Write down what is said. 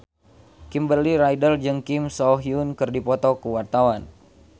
Kimberly Ryder jeung Kim So Hyun keur dipoto ku wartawan